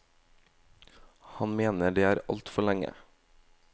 Han mener det er altfor lenge.